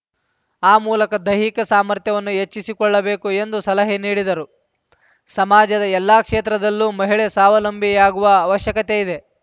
ಆ ಮೂಲಕ ದೈಹಿಕ ಸಾಮರ್ಥ್ಯವನ್ನು ಹೆಚ್ಚಿಸಿಕೊಳ್ಳಬೇಕು ಎಂದು ಸಲಹೆ ನೀಡಿದರು ಸಮಾಜದ ಎಲ್ಲಾ ಕ್ಷೇತ್ರದಲ್ಲೂ ಮಹಿಳೆ ಸ್ವಾವಲಂಬಿಯಾಗುವ ಅವಶ್ಯಕತೆ ಇದೆ